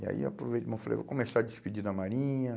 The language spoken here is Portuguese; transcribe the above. né? E aí aproveitei e bom, falei, vou começar a despedir da Marinha.